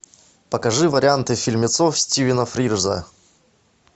покажи варианты фильмецов стивена фрирза